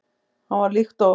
Hann var líkt og